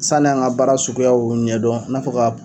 Sani an ŋa baara suguyaw ɲɛdɔn i n'a fɔ k'a p